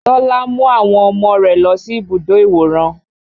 Tọ́lá mú àwọn ọmọ rẹ̀ lọ sí ibùdó ìwòran